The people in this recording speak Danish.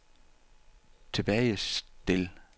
tilbagestil